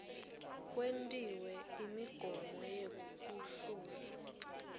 kwentiwe imigomo yekuhlungwa